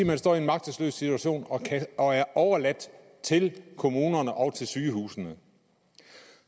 man står i en magtesløs situation og og er overladt til kommunerne og til sygehusene